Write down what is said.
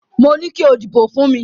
Mo ní kí o dìbò fún mi.